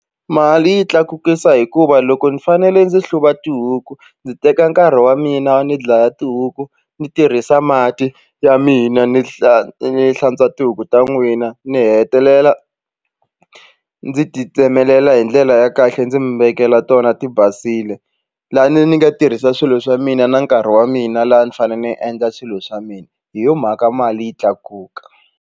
Mali yi tlakukisa hikuva loko ni fanele ndzi hluva tihuku ndzi teka nkarhi wa mina ni dlaya tihuku ni tirhisa mati ya mina ni hla ni hlantswa tihuku ta n'wina ni hetelela ndzi ti tsemelela hi ndlela ya kahle ndzi mi vekela tona ti basile lani ni nga tirhisa swilo swa mina na nkarhi wa mina laha ni fane ni endla swilo swa mina hi yo mhaka mali yi tlakuka.